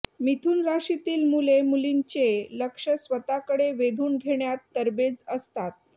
मिथुन राशीतील मुले मुलींचे लक्ष स्वतःकडे वेधून घेण्यात तरबेज असतात